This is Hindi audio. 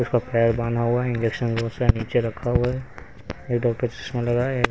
उसका पैर बांधा हुआ है इंजेक्शन को सा नीचे रखा हुआ है एक डॉक्टर इसमें लगाया है.